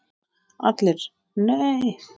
ALLIR: Nei!